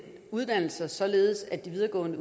uddannelser således at de videregående